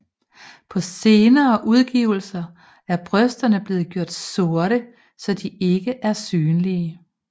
På senere udgivelser er brysterne blev gjort sorte så de ikke er synlige